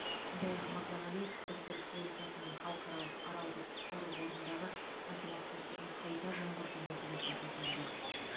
сондай ақ мырзағалиев қырғыз республикасының халықаралық аралды құтқару қорындағы ынтымақтастығын қайта жаңғырту мәселесін көтерді